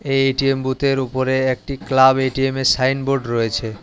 এই এ_টি_এম বুথের উপরে একটি ক্লাব এটিএমের সাইনবোর্ড রয়েছে।